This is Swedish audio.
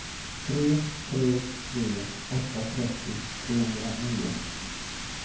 tre tre tre åtta trettio trehundranio